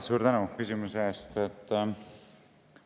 Suur tänu küsimuse eest!